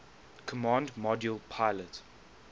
command module pilot